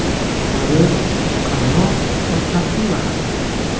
Baliq, qarmoq va Captiva haqida.